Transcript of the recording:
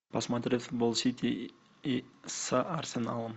посмотреть футбол сити с арсеналом